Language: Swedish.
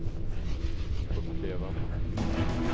uppleva